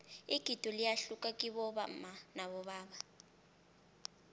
igido liyahluka kibomma nabobaba